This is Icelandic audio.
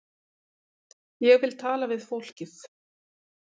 Ég vil tala við fólkið.